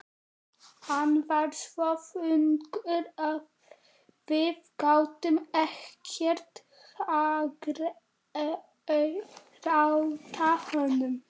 Hann var svo þungur að við gátum ekkert hagrætt honum.